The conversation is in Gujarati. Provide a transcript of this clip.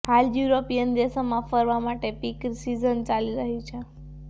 હાલ યુરોપિયન દેશોમાં ફરવા માટેની પીક સિઝન ચાલી રહી છે